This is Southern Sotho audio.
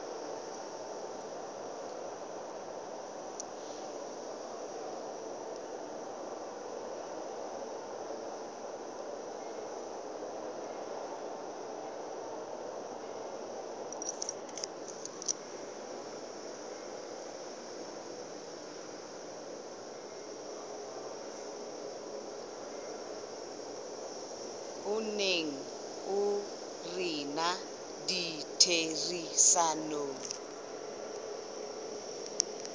o neng o rena ditherisanong